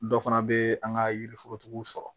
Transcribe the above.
Dɔ fana bɛ an ka yiriforotigiw sɔrɔ